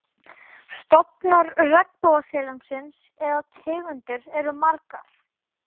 Stofnar regnbogasilungsins eða tegundir eru margar.